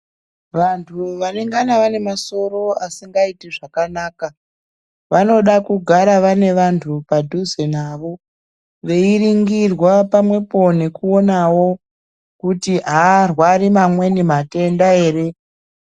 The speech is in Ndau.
Vantu vanengana vane masoro asingaiti zvakanaka vanoda kugara vane vantu padhuze navo veiringirwa pamwepo nekuonawo kuti arwari amweni matenda ere.